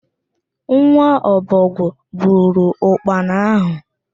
Nwa okpoko buru ụkpana ahụ